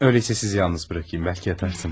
Öyleysə sizi yalnız buraxayım, bəlkə yatarsınız.